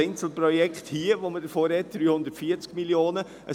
Wir sprechen hier über ein Einzelprojekt von 340 Mio. Franken.